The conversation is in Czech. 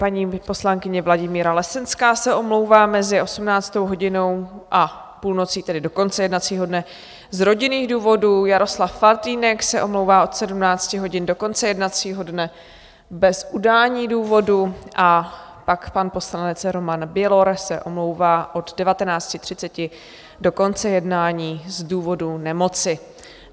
Paní poslankyně Vladimíra Lesenská se omlouvá mezi 18. hodinou a půlnocí, tedy do konce jednacího dne, z rodinných důvodů, Jaroslav Faltýnek se omlouvá od 17 hodin do konce jednacího dne bez udání důvodu a pak pan poslanec Roman Bělor se omlouvá od 19.30 do konce jednání z důvodu nemoci.